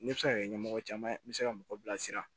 Ne bɛ se ka kɛ ɲɛmɔgɔ caman ye n bɛ se ka mɔgɔ bilasira